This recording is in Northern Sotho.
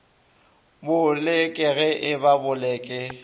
boleke ge e ba boleke